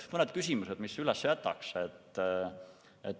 Mõned küsimused, mis üles jätaks.